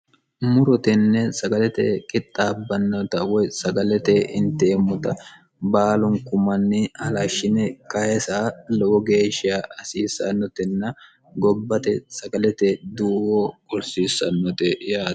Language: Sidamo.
murutenne sagalete kixxaabbannota woy sagalete hinteemmuta baalunkumanni alashshine kayisa lowo geeshshia hasiisannotenna gobbate sagalete duuwo gursiissannote ya